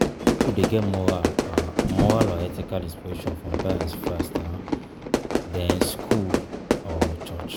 Pipo de get moral moral or ethical inspiration from parents first, um then school or church